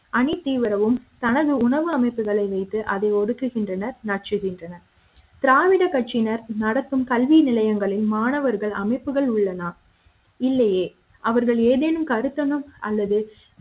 அணி தீவிரமாகவும் தனது உணவு அமைப்புகளை வைத்து அதை ஒடுக்குகின்றனர் நசுக்குகின்றனர் திராவிட கட்சியினர் நடத்தும் கல்வி நிலையங்களில் மாணவர்கள் அமைப்புகளுள் உள்ளதா இல்லையே அவர்கள் ஏதேனும் கருத்தரங்கம் அல்லது